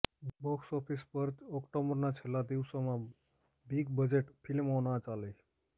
box office પર ઓક્ટોબરના છેલ્લા દિવસોમાં બિગબજેટ ફિલ્મો ના ચાલી